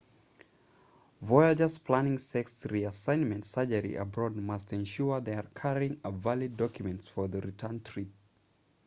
voyagers planning sex reassignment surgery abroad must ensure they're carrying valid documents for the return trip